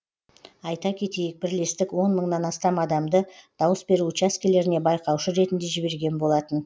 айта кетейік бірлестік он мыңнан астам адамды дауыс беру учаскелеріне байқаушы ретінде жіберген болатын